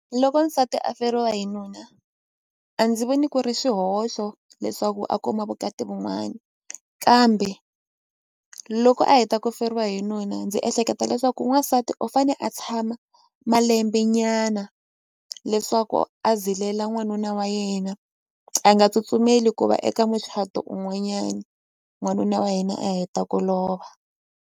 Loko nsati a feriwa hi nuna a ndzi voni ku ri swihoxo leswaku a kuma vukati kambe loko a heta ku feriwa hi nuna ndzi ehleketa leswaku n'wansati u fane a tshama malembe nyana leswaku a zilela n'wanuna wa yena a nga tsutsumeli ku va eka muchato un'wanyana n'wanuna wa yena a heta ku lova.